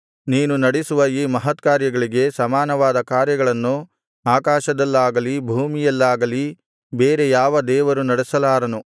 ನೀನು ನಡಿಸುವ ಈ ಮಹತ್ಕಾರ್ಯಗಳಿಗೆ ಸಮಾನವಾದ ಕಾರ್ಯಗಳನ್ನು ಆಕಾಶದಲ್ಲಾಗಲಿ ಭೂಮಿಯಲ್ಲಾಗಲಿ ಬೇರೆ ಯಾವ ದೇವರು ನಡೆಸಲಾರನು